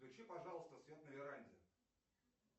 включи пожалуйста свет на веранде